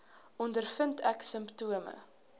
ondervind ek simptome